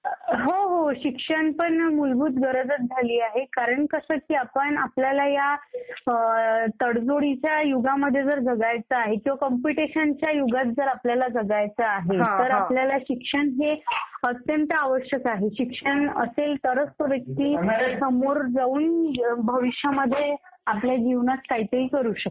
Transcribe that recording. हो हो शिक्षण सुद्धा एक मूलभूत गरज झालेली आहे कारण कसं की आपण आपल्याला ह्या तडजोडीच्या युगामध्ये जगायचं आहे किंवा काम्पिटिशनच्या युगामध्ये आपल्याला जगायचं आहे, तर आपल्याला शिक्षण हे अत्यंत आवश्यक आहे. शिक्षण असेल तरच तो व्यक्ती समोर जाऊन भविष्यामध्ये आपल्या जीवनात काहीतरी करू शकतो.